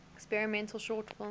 experimental short film